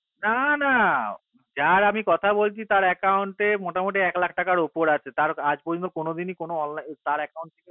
না না যার আমি কথা বলছি তার account